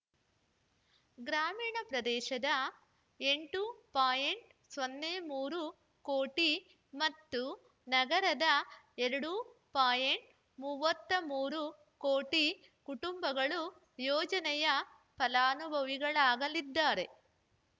ಗ್ರಾಮೀಣ ಪ್ರದೇಶದ ಎಂಟು ಪಾಯಿಂಟ್ ಮೂರು ಕೋಟಿ ಮತ್ತು ನಗರದ ಎರಡು ಪಾಯಿಂಟ್ ಮೂವತ್ತ್ ಮೂರು ಕೋಟಿ ಕುಟುಂಬಗಳು ಯೋಜನೆಯ ಫಲಾನುಭವಿಗಳಾಗಲಿದ್ದಾರೆ